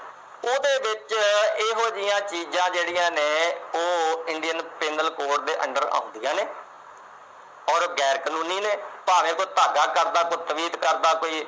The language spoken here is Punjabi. ਉਹਦੇ ਵਿੱਚ ਇਹੋ ਜਿਹੀਆਂ ਚੀਜਾਂ ਜਿਹੜੀਆਂ ਨੇ, ਉਹ Indian Penal Code ਦੇ under ਆਉਂਦੀਆਂ ਨੇ ਔਰ ਉਹ ਗੈਰ-ਕਾਨੂੰਨੀ ਨੇ, ਭਾਵੇਂ ਕੋਈ ਧਾਗਾ ਕਰਦਾ, ਕੋਈ ਤਵੀਤ ਕਰਦਾ।